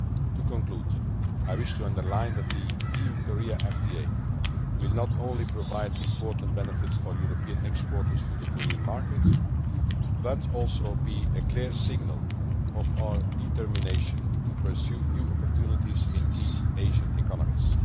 manner. To conclude, I wish to emphasise that the EU Korea FTA will not only provide important benefits for European exporters to the Korean market, but will also be a clear signal of our determination to pursue new opportunities in key Asian